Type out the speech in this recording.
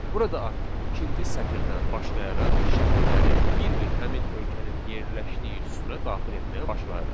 Burada artıq ikinci sətirdən başlayaraq şəhərləri bir-bir həmin ölkənin yerləşdiyi sütuna daxil etməyə başlayırıq.